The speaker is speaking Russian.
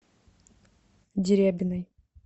дерябиной